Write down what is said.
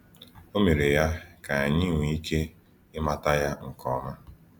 O mere ya ka anyị nwee ike ịmata Ya nke ọma.